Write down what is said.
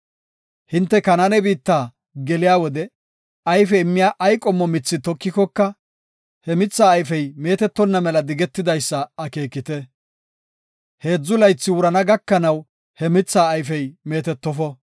“Hinte Kanaane biitta geliya wode ayfe immiya ay qommo mithi tokikoka, he mithaa ayfey meetetonna mela digetidaysa akeekite. Heedzu laythi wurana gakanaw he mithaa ayfey meetetofo.